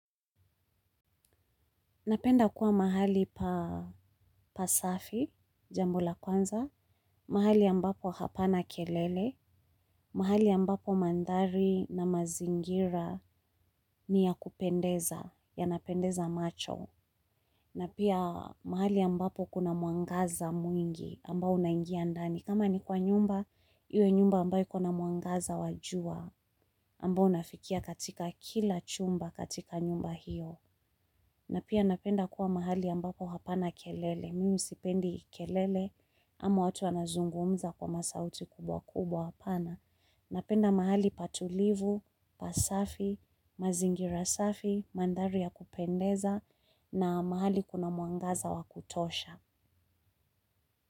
Napenda kuwa mahali pasafi, jambo la kwanza, mahali ambapo hapana kelele, mahali ambapo mandari na mazingira ni ya kupendeza, yanapendeza macho. Na pia mahali ambapo kuna muangaza mwingi ambao unaingia ndani. Kama ni kwa nyumba, iwe nyumba ambayo kuna muangaza wajua ambao unafikia katika kila chumba katika nyumba hiyo. Na pia napenda kuwa mahali ambapo hapana kelele, mimi sipendi kelele ama watu wanazungumza kwa masauti kubwa kubwa hapana. Napenda mahali patulivu, pasafi, mazingira safi, mandari ya kupendeza na mahali kuna muangaza wa kutosha.